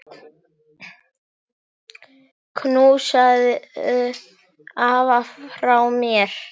Knúsaðu afa frá mér.